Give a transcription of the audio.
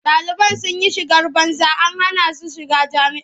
Ɗaliban sun yi shigar banza an hana su shiga jami'a.